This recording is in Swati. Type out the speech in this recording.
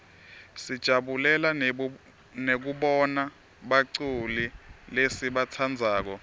sijabulela nekubona baculi lesibatsandzako